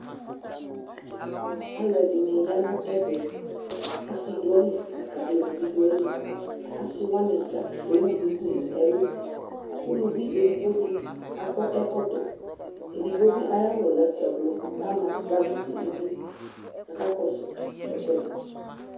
Alɛde ne ya no ɛvɛ Ase do ali la ko aluvi do aliAse wane dza ewu duku no ɛluUluvi edigbo de akɔ ɛkɔtɔ Edigbo be aya wu lɛ ɛblɔ ka,a bagi nedu kaka kɔso ekuɛde